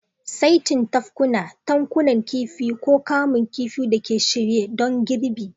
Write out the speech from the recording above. saitin tafkuna, tankunan kifi, ko kamun kifi da ke shirye don girbi.